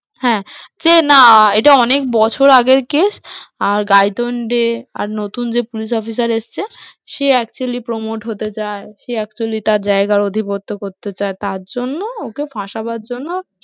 হ্যাঁ, যে না এটা অনেক বছর আগের case আর গাইতুণ্ডে নতুন যে police officer এসছে সে actually promote হতে চায়, সে actually তার জায়গা অধিপত্য করতে চায়, তারজন্য ওকে ফাঁসাবার জন্য